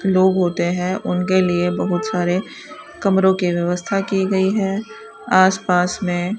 लोग होते हैं उनके लिए बहुत सारे कमरों के व्यवस्था की गई है आस पास में --